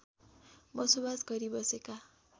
बसोबास गरी बसेका